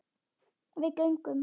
Við göngum